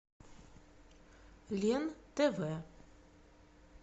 лен тв